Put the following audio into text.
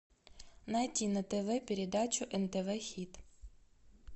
найти на тв передачу нтв хит